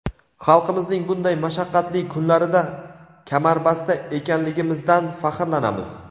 xalqimizning bunday mashaqqatli kunlarida kamarbasta ekanligimizdan faxrlanamiz!.